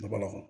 Ka bɔ a kɔnɔ